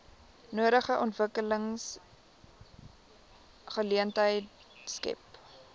nodige ontwikkelingsgeleenthede skep